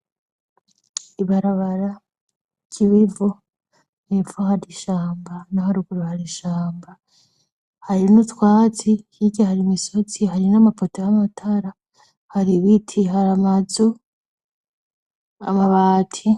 Ibarabara ry'i wivo mw'ipfo hari ishamba na ho aruguru hari ishamba harin'utwatsi yirya hari imisotsi hari n'amapota y' amatara hari ibiti hari amazu amabati.